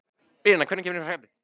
Bríanna, hvenær kemur fjarkinn?